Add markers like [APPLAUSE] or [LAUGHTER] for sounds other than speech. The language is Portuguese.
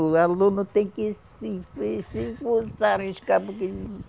O aluno tem que se [UNINTELLIGIBLE] forçar. [UNINTELLIGIBLE]